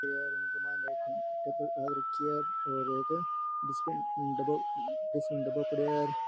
एक टेबल घाल राखी है एक डस्टबिन डब्बो पड़ेयो है।